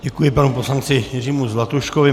Děkuji panu poslanci Jiřímu Zlatuškovi.